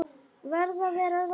Verð að vera róleg.